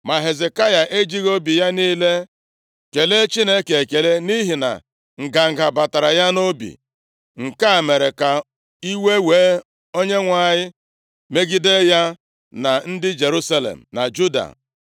Ma Hezekaya ejighị obi ya niile kelee Chineke ekele nʼihi na nganga batara ya nʼobi. Nke a mere ka iwe wee Onyenwe anyị megide ya na ndị Jerusalem na Juda.